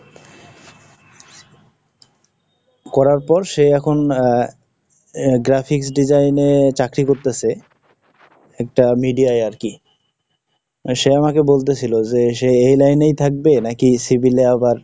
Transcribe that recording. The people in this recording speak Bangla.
করার পর সে এখন আহ, Graphics Design এ চাকরি করতেছে। একটা media ই আর কি। সে আমাকে বলতেছিল যে সে এই লাইনেই থাকবে নাকি Civil এ আবার,